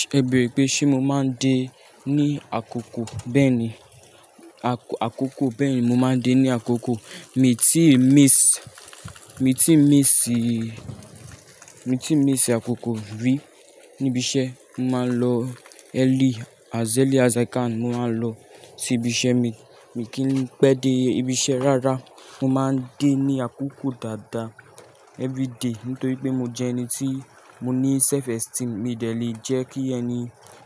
Ṣẹ̀ bẹ́rẹ́ pé ṣé mo máa ń dé ní àkókò bẹ́ẹ̀ni, àkọ-àkókò bẹ́ẹ̀ni mo máa ń dé ní àkókò. Mi tí miss, mi tí miss mi tí ń miss àkókò rí níbi iṣẹ́, mo máa ń lọ early as early as i can mo máa lọ sí ibi iṣẹ́ mi. Mi kì í pẹ́ dé ibi iṣẹ́ rárá, mo máa ń dé ní àkókò dáadáa everyday nítorí pé mo jẹ́ ẹni tí mo ní self esteem. Mi ò dẹ lè jẹ́ kí ẹni